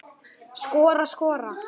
Skora, skora?